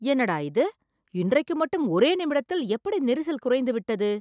என்னடா இது.. இன்றைக்கு மட்டும் ஒரே நிமிடத்தில் எப்படி நெரிசல் குறைந்துவிட்டது!